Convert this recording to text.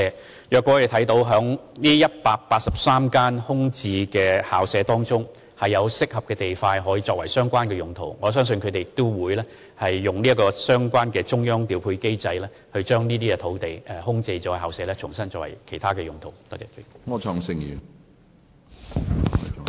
倘若教育局在這183幅空置校舍用地中，找到適合地塊作相關用途，我相信局方會循中央調配機制申請把相關空置校舍用地重新作為其他用途。